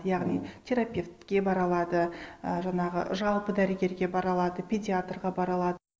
яғни терапевтке бара алады і жаңағы жалпы дәрігерге бара алады педиатрға бара алады